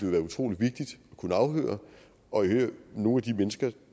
være utrolig vigtigt at kunne afhøre og i øvrigt nogle af de mennesker